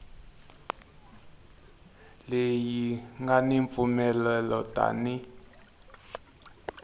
leyi nga ni mpfumelelo tani